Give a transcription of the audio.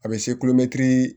A bɛ se